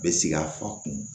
Bɛ sigi a fa kun